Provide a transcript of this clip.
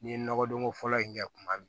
N'i ye nɔgɔdon ko fɔlɔ in kɛ kuma min